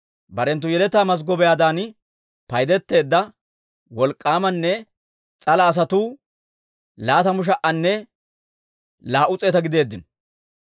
Barenttu yeletaa mazggobiyaadan paydeteedda wolk'k'aamanne s'ala asatuu laatamu sha"anne laa"u s'eeta gideeddino.